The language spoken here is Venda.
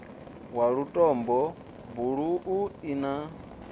wa lutombo buluu i na